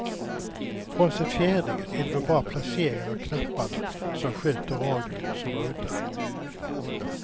Frånsett fjädringen är det väl bara placeringen av knapparna som sköter radion som är udda.